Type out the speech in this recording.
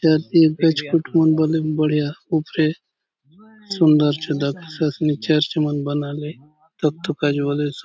या फेर गछ खुट मन बले बढ़िया ऊपरे सुंदर चो दखेसे असनी चर्च मन बनाले दखतो काजे बले स--